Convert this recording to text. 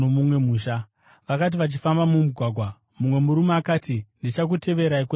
Vakati vachifamba mumugwagwa, mumwe murume akati, “Ndichakuteverai kwose kwamunoenda.”